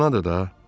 Anadır da.